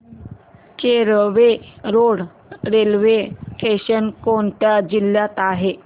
Kelve road railway station कोणत्या जिल्ह्यात आहे